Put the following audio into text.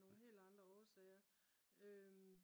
af nogle helt andre årsager